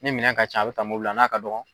Ni minɛn ka ca a bɛ ta mobili la n'a ka dɔgɔn